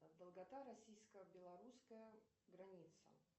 долгота российско белорусская граница